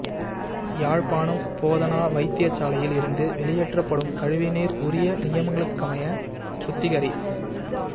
யாழ்ப்பாணம் போதனா வைத்தியசாலையில் இருந்து வெளியேற்றப்படும் கழிவு நீர் உரிய நியமங்களுக்கமைய சுத்திகரி